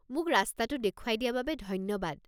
মোক ৰাস্তাটো দেখুৱাই দিয়া বাবে ধন্যবাদ।